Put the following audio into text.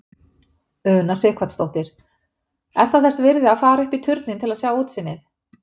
Una Sighvatsdóttir: Er það þess virði að fara upp í turninn til að sjá útsýnið?